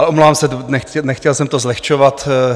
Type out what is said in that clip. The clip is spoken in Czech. Ale omlouvám se, nechtěl jsem to zlehčovat.